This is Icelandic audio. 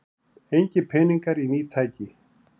Engir peningar í ný tæki